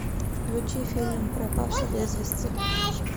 включи фильм пропавший без вести